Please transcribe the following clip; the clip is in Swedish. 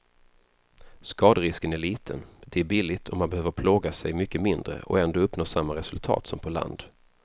Skaderisken är liten, det är billigt och man behöver plåga sig mycket mindre och ändå uppnå samma resultat som på land.